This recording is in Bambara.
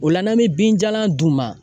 O la n'an bɛ binjalan d'u ma